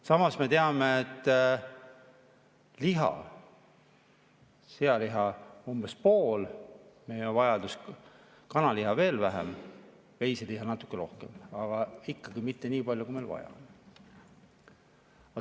Samas me teame, et sealiha umbes poole meie vajadusest, kanaliha vähem, veiseliha natuke rohkem, aga ikka mitte nii palju, kui meil vaja.